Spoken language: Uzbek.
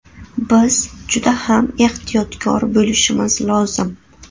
Biz juda ham ehtiyotkor bo‘lishimiz lozim.